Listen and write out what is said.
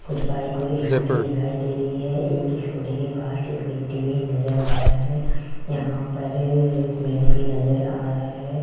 कुछ बाइक और एक स्कूटी दिखाई दे रही है एक स्कूटी के पास एक व्यक्ति भी नज़र आ रहा है यहां पर एक कूलर भी नज़र आ रहा है।